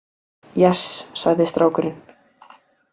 Yes, sagði strákurinn.